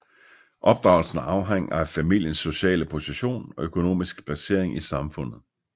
Opdragelsen afhang af familiens sociale position og økonomiske placering i samfundet